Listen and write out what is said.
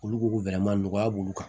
Olu ko ko nɔgɔya b'olu kan